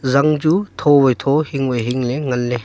zang chu tho wai tho hing wai hing le nganle.